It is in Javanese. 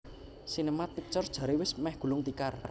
Sinemart Pictures jare wis meh gulung tikar